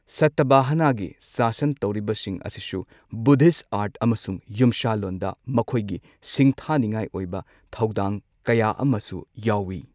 ꯁꯇꯚꯥꯍꯅꯒꯤ ꯁꯥꯁꯟ ꯇꯧꯔꯤꯕꯁꯤꯡ ꯑꯁꯤꯁꯨ ꯕꯨꯙꯤꯁꯠ ꯑꯥꯔꯠ ꯑꯃꯁꯨꯡ ꯌꯨꯝꯁꯥꯂꯣꯟꯗ ꯃꯈꯣꯏꯒꯤ ꯁꯤꯡꯊꯥꯅꯤꯡꯉꯥꯏ ꯑꯣꯏꯕ ꯊꯧꯗꯥꯡ ꯀꯌꯥ ꯑꯃꯁꯨ ꯌꯥꯎꯏ꯫